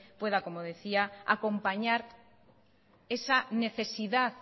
pueda como decía acompañar esa necesidad